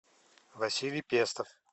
василий пестов